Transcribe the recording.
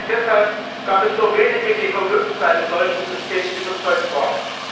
Auch deshalb gab es nur Wenige, die vom Nutzen eines solchen Systems überzeugt waren.